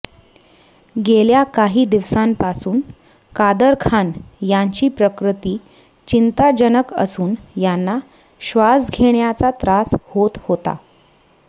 गेल्या काही दिवसांपासून कादर खान यांची प्रकृती चिंताजनक असून यांना श्वास घेण्याचा त्रास होत होता